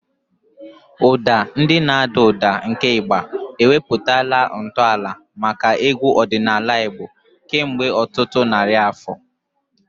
Ụda ndị na-ada ụda nke Igba ewepụtala ntọala maka egwu ọdịnala Igbo kemgbe ọtụtụ narị afọ.